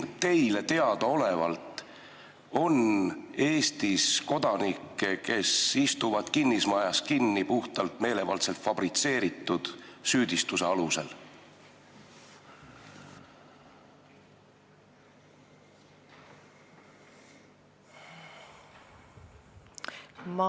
Kas teile teadaolevalt on Eestis kodanikke, kes istuvad kinnismajas kinni puhtalt meelevaldselt fabritseeritud süüdistuse alusel?